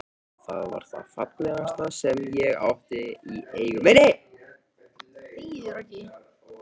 Það var það fallegasta sem ég átti í eigu minni.